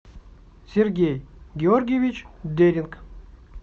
сергей георгиевич деринг